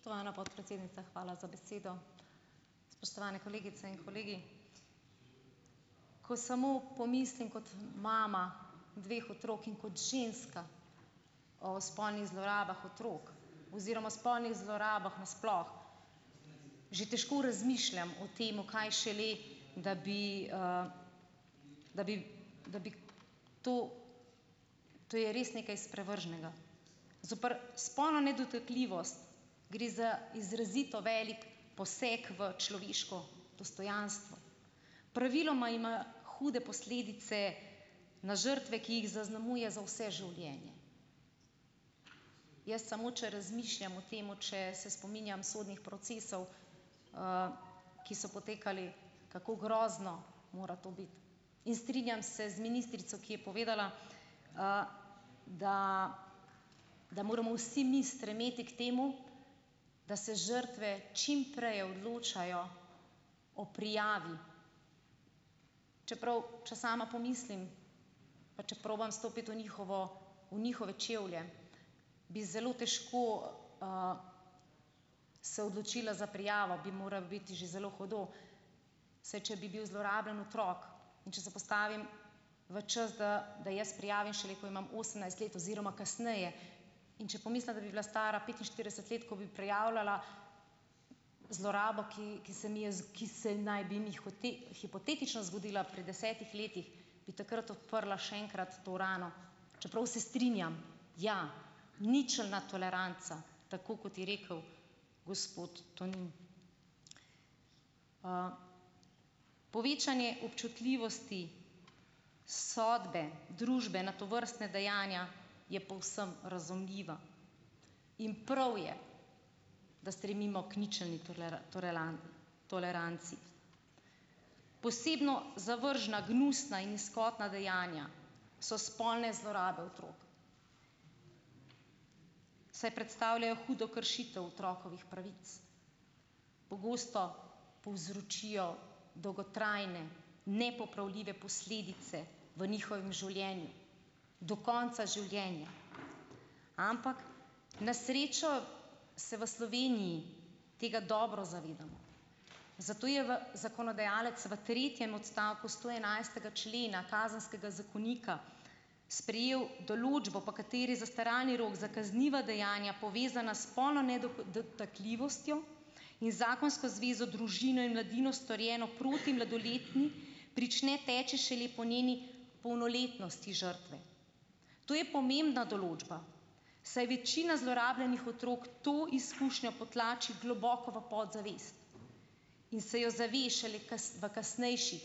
Spoštovana podpredsednica, hvala za besedo, spoštovane kolegice in kolegi, ko samo pomislim kot mama dveh otrok in kot ženska o spolnih zlorabah otrok oziroma spolnih zlorabah na sploh že težko razmišljam o tem, kaj šele da bi, da bi, da bi to ... To je res nekaj sprevrženega zoper spolno nedotakljivost, gre za izrazito velik poseg v človeško dostojanstvo, praviloma ima hude posledice na žrtve, ki jih zaznamuje za vse življenje, jaz samo če razmišljam o tem, če se spominjam sodnih procesov, ki so potekali, kako grozno mora to biti, in strinjam se z ministrico, ki je povedala, da da moramo vsi mi stremeti k temu, da se žrtve čim prej odločajo o prijavi, čeprav če sama pomislim, pa če probam stopiti v njihovo, v njihove čevlje, bi zelo težko, se odločila za prijavo, bi moralo biti že zelo hudo, saj če bi bil zlorabljen otrok, in če se postavim v čas, da da jaz prijavim šele, ko imam osemnajst let oziroma kasneje, in če pomislim, da bi bila stara petinštirideset let, ko bi prijavljala zlorabo, ki ki se mi je ki se naj bi mi hipotetično zgodila pri desetih letih, bi takrat odprla še enkrat to rano, čeprav se strinjam, ja, ničelna toleranca, tako kot je rekel gospod Tonin, povečanje občutljivosti sodbe, družbe na tovrstne dejanja je povsem razumljiva in prav je, da stremimo k ničelni toleranci, posebno zavržna gnusna in nizkotna dejanja so spolne zlorabe otrok, saj predstavljajo hudo kršitev otrokovih pravic, pogosto povzročijo dolgotrajne nepopravljive posledice v njihovem življenju do konca življenja, ampak na srečo se v Sloveniji tega dobro zavedamo, zato je v zakonodajalec v tretjem odstavku stoenajstega člena kazenskega zakonika sprejel določbo, po kateri zastaralni rok za kazniva dejanja, povezana spolno nedotakljivostjo in zakonsko zvezo, družino in mladino, storjeno proti mladoletni, prične teči šele po njeni polnoletnosti žrtve, to je pomembna določba, saj večina zlorabljenih otrok to izkušnjo potlači globo v podzavest in se jo zave šele v kasnejših,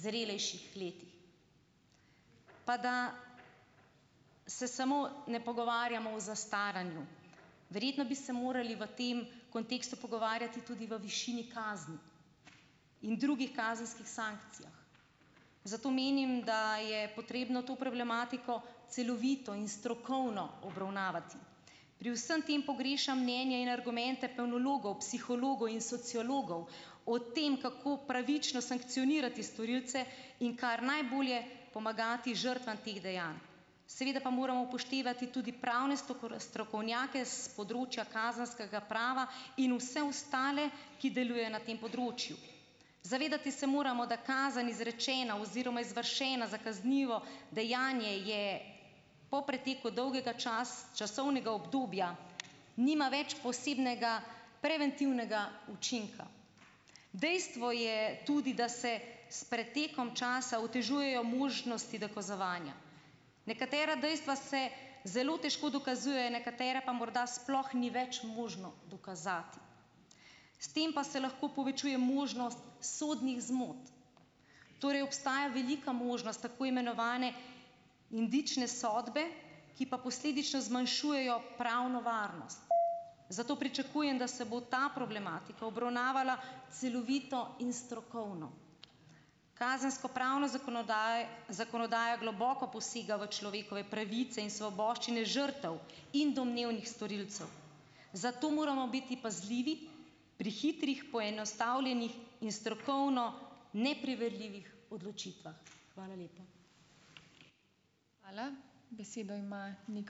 zrelejših letih. Pa da se samo ne pogovarjamo o zastaranju, verjetno bi se morali v tem kontekstu pogovarjati tudi o višini kazni in drugih kazenskih sankcijah, zato menim, da je potrebno to problematiko celovito in strokovno obravnavati, pri vsem tem pogrešam mnenje in argumente penologov, psihologov in sociologov o tem, kako pravično sankcionirati storilce in kar najbolje pomagati žrtvam teh dejanj, seveda pa moramo upoštevati tudi pravne strokovnjake s področja kazenskega prava in vse ostale, ki deluje na tem področju, zadevati se moramo, da kazen izrečena oziroma izvršena za kaznivo dejanje, je po preteku dolgega časovnega obdobja nima več posebnega preventivnega učinka. Dejstvo je tudi, da se s pretekom časa otežujejo možnosti dokazovanja, nekatera dejstva se zelo težko dokazujejo, nekatere pa morda sploh ni več možno dokazati, s tem pa se lahko povečuje možnost sodnih zmot, torej obstaja velika možnost tako imenovane indične sodbe, ki pa posledično zmanjšujejo pravno varnost, zato pričakujem, da se bo ta problematika obravnavala celovito in strokovno, kazenskopravno zakonodajo globoko posega v človekove pravice in svoboščine žrtev in domnevnih storilcev, zato moramo biti pazljivi pri hitrih poenostavljenih in strokovno nepreverljivih odločitvah. Hvala lepa.